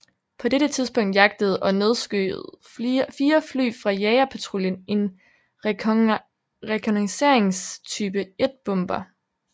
På dette tidspunkt jagtede og nedskød fire fly fra jagerpatruljen en rekognoscerings Type 1 bomber